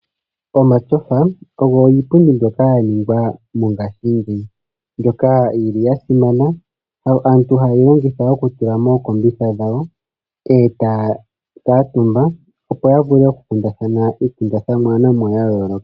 Omatyofa ogo iipundi mbyoka yaningwa mongaashingeyi, mbyoka yi ili yasimana. Aantu ohayeyi longitha okutula mookombitha dhawo, e taya kuuntumba, opo yavule okukundathana iikundathanwa ya yooloka.